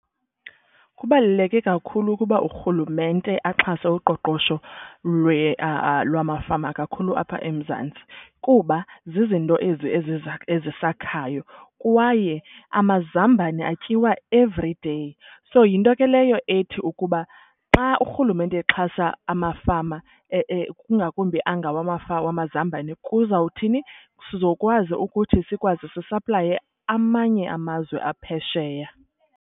Kubaluleke kakhulu ukuba urhulumente axhase uqoqosho lwamafama kakhulu apha eMzantsi kuba zizinto ezi ezisakhayo. Kwaye amazambane atyiwa everyday. So yinto ke leyo ethi ukuba xa urhulumente exhasa amafama kungakumbi angawamazambane kuzawuthini, sizokwazi ukuthi sikwazi zisaplaye amanye amazwe aphesheya.